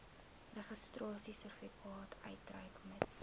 registrasiesertifikaat uitreik mits